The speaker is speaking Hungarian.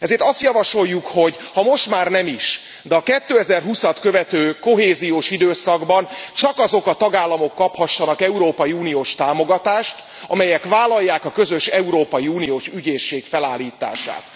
Ezért azt javasoljuk, hogy ha most már nem is, de a 2020 at követő kohéziós időszakban csak azok a tagállamok kaphassanak európai uniós támogatást, amelyek vállalják a közös európai uniós ügyészség felállítását.